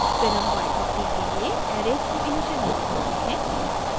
फिर हम y और t के लिए एरेज़ को इनिशिअलाइज़ करते हैं